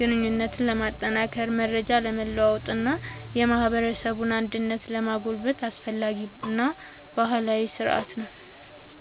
ግንኙነትን ለማጠናከር፣ መረጃ ለመለዋወጥ እና የማህበረሰብ አንድነትን ለማጎልበት አስፈላጊ ባህላዊ ሥርዓት ነው።